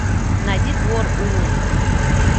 найди двор улун